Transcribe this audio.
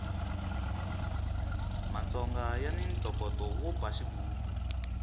matsongo yani ntokoto wo ba xigubu